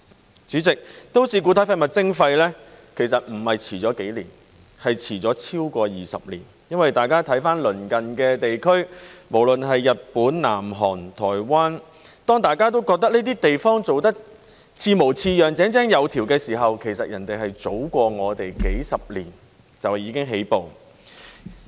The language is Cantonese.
代理主席，都市固體廢物徵費其實不是遲了幾年，而是遲了超過20年，因為大家看鄰近地區，無論是日本、南韓、台灣，當大家都覺得這些地方做得似模似樣、井井有條時，其實別人是早過我們幾十年就已經起步。